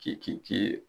K'i k'i